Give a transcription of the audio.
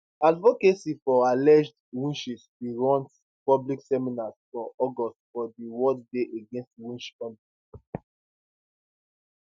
advocacy for alleged witches bin run public seminars for august for di world day against witch hunts